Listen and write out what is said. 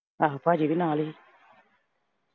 ਆਹੋ ਭਾਜੀ ਵੀ ਨਾਲ ਈ ਆ